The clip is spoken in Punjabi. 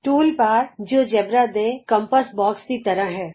ਟੂਲ ਬਾਰ ਜਿਉਜੇਬਰਾ ਦੇ ਕੰਪਾਸ ਬੋਕਸ ਦੀ ਤਰ੍ਹਾਂ ਹੈ